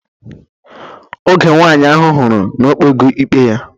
Oge nwaanyị ahụ hụrụ na o kpego ikpe ya